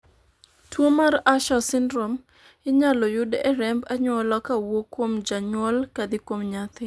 tuo mar Usher syndrome inyalo yud e remb anyuola ka owuok kuom janyuol kadhi kuom nyathi